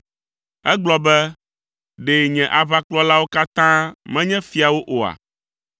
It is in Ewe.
Egblɔ be, ‘Ɖe nye aʋakplɔlawo katã menye fiawo oa?’